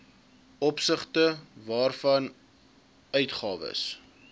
opsigte waarvan uitgawes